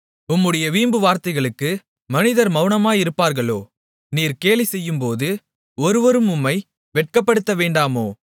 உம்முடைய வீம்புவார்த்தைகளுக்கு மனிதர் மவுனமாயிருப்பார்களோ நீர் கேலிசெய்யும்போது ஒருவரும் உம்மை வெட்கப்படுத்தவேண்டாமோ